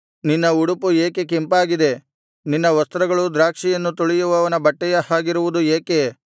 ನಿನ್ನ ಉಡುಪು ಏಕೆ ಕೆಂಪಾಗಿದೆ ನಿನ್ನ ವಸ್ತ್ರಗಳು ದ್ರಾಕ್ಷಿಯನ್ನು ತುಳಿಯುವವನ ಬಟ್ಟೆಯ ಹಾಗಿರುವುದು ಏಕೆ